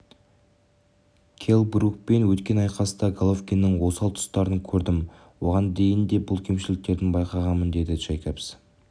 келл брукпен өткен айқаста головкиннің осал тұстарын көрдім оған дейін де бұл кемшіліктерін байқағанмын деді джейкобс